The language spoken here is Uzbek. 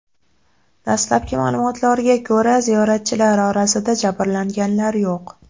Dastlabki ma’lumotlarga ko‘ra, ziyoratchilar orasida jabrlanganlar yo‘q.